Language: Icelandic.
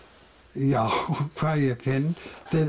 já hvað ég finn